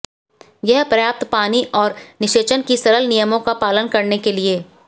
यह पर्याप्त पानी और निषेचन की सरल नियमों का पालन करने के लिए